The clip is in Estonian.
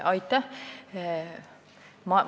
Aitäh!